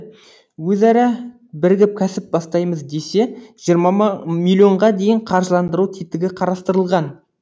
өзара бірігіп кәсіп бастаймыз десе жиырма миллионға дейін қаржылдандыру тетігі қарастырылған